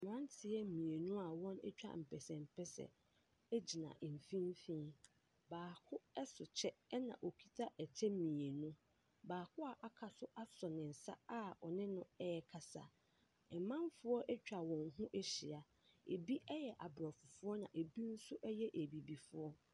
Mmeranteɛ mmienu a wɔatwa mpɛsɛmpɛsɛ gyina mfimfin. Baako so kyɛ ɛnna ɔkita kyɛ mmienu. Baako a waka nso asɔ ne nsa a ɔne no rekasa. Amanfoɔ atwa wɔn ho ahyia. Ebi yɛ aborɔfo ɛnna ebi nso yɛ abibifoɔ.